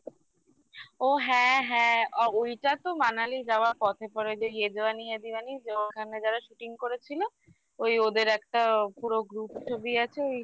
ও হ্যাঁ হ্যাঁ ওইটা তো Manali যাওয়া পথে পরে যে yeh jawani hai diwani যে ওখানে যারা Shooting করেছিল ওই ওদের একটা পুরো group ছবি আছে